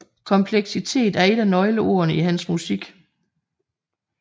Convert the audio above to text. Kompleksitet er et af nøgleordene i hans musik